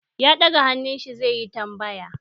Ya daga hannun shi zai yi tambaya.